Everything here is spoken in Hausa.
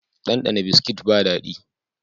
Ɗanɗana Biskit ba daɗi